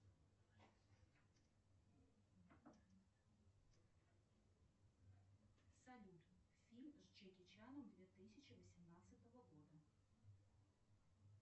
салют фильм с джеки чаном две тысячи восемнадцатого года